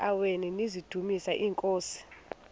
eziaweni nizidumis iinkosi